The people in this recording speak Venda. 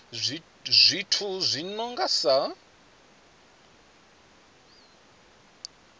zwithu zwi no nga sa